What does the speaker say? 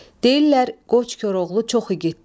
Deyirlər qoç Koroğlu çox igiddir.